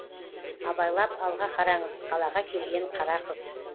абайлап алға қараңыз қалаға келген қара қыз